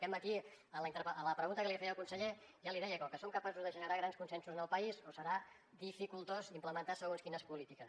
aquest matí a la pregunta que li feia al conseller ja l’hi deia que o som capaços de generar grans consensos en el país o serà dificultós implementar segons quines polítiques